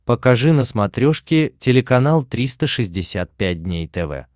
покажи на смотрешке телеканал триста шестьдесят пять дней тв